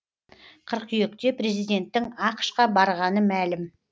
қыркүйекте президенттің ақш қа барғаны мәлім